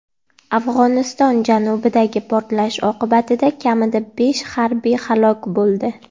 Afg‘oniston janubidagi portlash oqibatida kamida besh harbiy halok bo‘ldi.